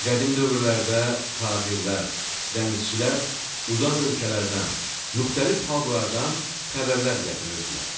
Qədim dövrlərdə tacirlər, dənizçilər uzaq ölkələrdən, müxtəlif xalqlardan xəbərlər gətirirdilər.